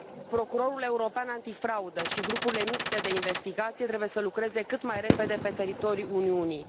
Procurorul European Antifraudă și grupurile mixte de investigație trebuie să lucreze cât mai repede pe teritoriul Uniunii.